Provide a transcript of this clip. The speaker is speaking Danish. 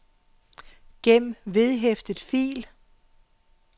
gem vedhæftet fil